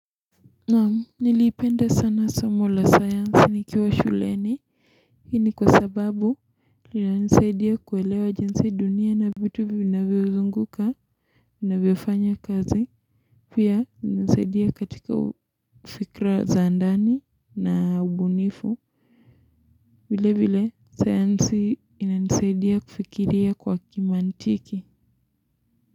Nam niliipenda sana somo la sayansi nikiwa shuleni hii ni kwa sababu linanisaidia kuelewa jinsi dunia na vitu vinavyozunguka inavyofanya kazi pia inasaidia katika ufikra za ndani na ubunifu vile vile sayansi inanisaidia kufikiria kwa kimantiki.